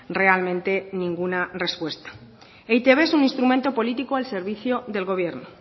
realmente ninguna respuesta e i te be es un instrumento político al servicio del gobierno